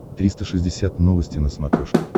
триста шестьдесят новости на смотрешке